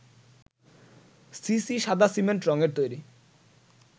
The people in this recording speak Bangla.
সিসি সাদা সিমেন্ট রংয়ের তৈরি